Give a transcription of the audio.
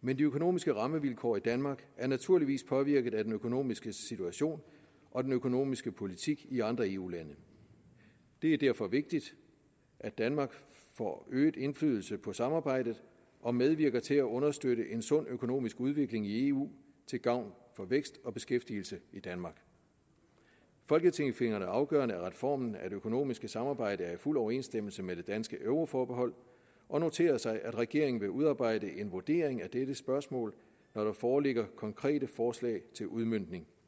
men de økonomiske rammevilkår i danmark er naturligvis påvirket af den økonomiske situation og den økonomiske politik i andre eu lande det er derfor vigtigt at danmark får øget indflydelse på samarbejdet og medvirker til at understøtte en sund økonomisk udvikling i eu til gavn for vækst og beskæftigelse i danmark folketinget finder det afgørende at reformen af det økonomiske samarbejde er i fuld overensstemmelse med det danske euroforbehold og noterer sig at regeringen vil udarbejde en vurdering af dette spørgsmål når der foreligger konkrete forslag til udmøntning